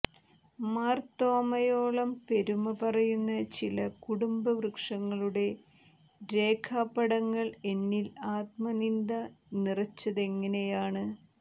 മാർത്തോമായോളം പെരുമ പറയുന്ന ചില കുടുംബ വൃക്ഷങ്ങളുടെ രേഖാ പടങ്ങൾ എന്നിൽ ആത്മനിന്ദ നിറച്ചതങ്ങനെയാണ്